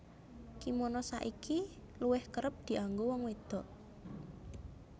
Kimono saiki luwih kerep dianggo wong wédok